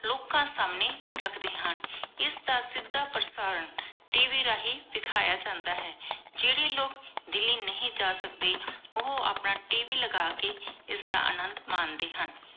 ਲੋਕਾਂ ਸਮਾਨ੍ਯ ਰਖਦੇ ਹਨ ਇਸ ਦਾ ਸਿਧਾ ਪ੍ਰਸਾਰਣ ਟੀ ਵੀ ਰਹੀ ਦੇਖਾਯਾ ਜਾਂਦਾ ਹੈ ਜੇਰੀ ਲੋਗ ਦਿੱਲੀ ਨਹੀ ਜਾ ਸਕਦੇ ਓਹੋ ਆਪਣ ਟੀ ਵੀ ਲਗਾ ਕੀ ਇਸਦਾ ਅਨੰਦੁ ਮੰਡੇ ਹਨ